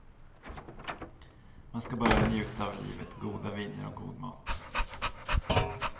Man ska bara njuta av livet, goda viner och god mat.